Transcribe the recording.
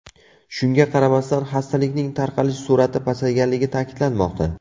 Shunga qaramasdan, xastalikning tarqalish sur’ati pasayganligi ta’kidlanmoqda.